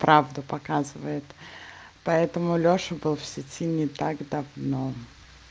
правда показывает поэтому лёша был в сети не так давно